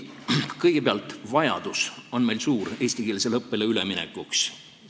Kõigepealt, vajadus eestikeelsele õppele üle minna on meil suur.